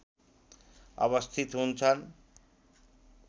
अवस्थित हुन्छन्